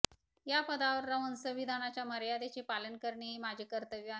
या पदावर राहून संविधानाच्या मर्यादेचे पालन करणे हे माझे कर्तव्य आहे